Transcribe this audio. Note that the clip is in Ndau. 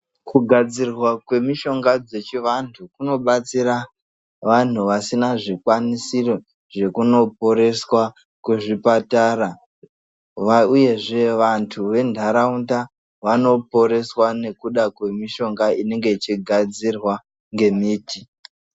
Kugadzirwa kwemishonga dzechiantu kunobatsiya vantu vasina zvikwanisiyo zvekundoporeswa kuzvipatara uyezve vantu vendaraunda vanoporeswa ngekuda kwemishonga inenge yegadzirwa ngemiti .